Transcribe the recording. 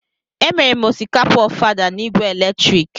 Emere m osikapa ofada na igwe eletrik.